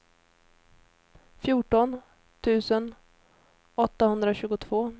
fjorton tusen åttahundratjugotvå